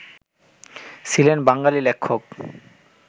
ছিলেন বাঙালি লেখক